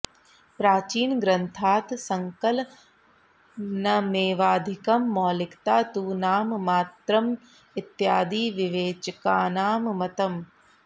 प्राचीनग्रन्थात् सङ्कलनमेवाधिकं मौलिकता तु नाम मात्रमित्यादि विवेचकानां मतम्